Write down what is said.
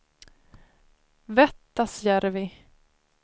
Vettasjärvi